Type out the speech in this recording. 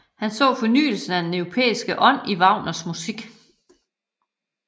Han så fornyelse af den europæiske ånd i Wagners musik